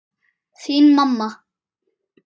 Þín, mamma.